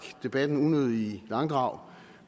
debatten unødigt i langdrag